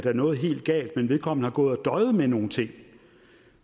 er noget helt galt men vedkommende har gået og døjet med nogle ting og